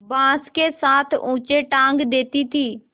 बाँस के साथ ऊँचे टाँग देती थी